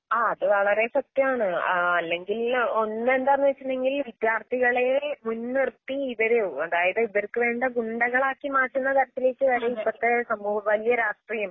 ആ അതുവളരെസത്യാണ്. ആഹ്അല്ലെങ്കിൽ ഒന്നെന്താന്നുവച്ചിട്ടുണ്ടെങ്കിൽ വിദ്യാർത്ഥികളേൽ മുൻനിർത്തി ഇവരെയൊ അതായത്ഇവർക്കുവേണ്ടഗുണ്ടകളാക്കിമാറ്റുന്നതരത്തിലേക്കുവരും ഇപ്പത്തേസമൂഹബാല്യരാഷ്ട്രിയം.